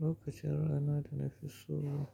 Lokacin rana da na fi so